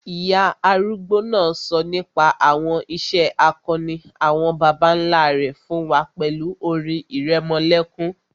Ìyá arúgbó náà sọ nípa àwọn ìṣe akọni àwọn bàbá nlá rẹ̀ fún wa pẹ̀lú orin ìrẹmọlẹ́kún